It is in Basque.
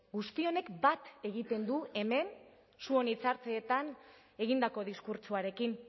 guzti honek bat egiten du hemen zuon hitzaldietan egindako diskurtsoarekin